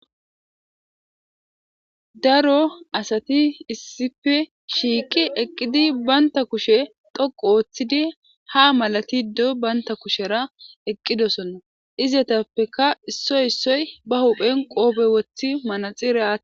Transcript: Daro asati issippe shiiqi eqqidi banta kushe dhoqqu oothidi ha malatiddo banta kushera eqqidosonna ezetappekka issoy issoy ba huphen qoobe wothi manaxire